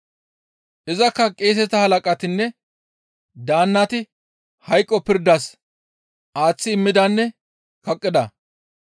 Izakka qeeseta halaqatinne daannati hayqo pirdas aaththi immidanne kaqqida.